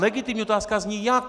Legitimní otázka zní: jak?